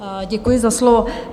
Děkuji za slovo.